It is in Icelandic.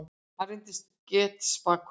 Hann reyndist getspakur.